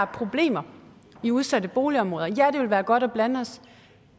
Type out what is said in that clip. problemer i udsatte boligområder ja det vil være godt at blande os